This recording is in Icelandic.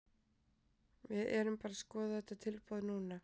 Við erum bara að skoða þetta tilboð núna.